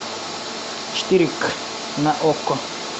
четыре к на окко